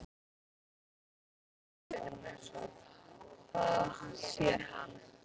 Það lifir augljóslega í heiminum eins og það sér hann.